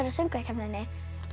söngvakeppninni